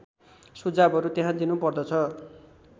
सुझावहरू त्यहाँ दिनुपर्दछ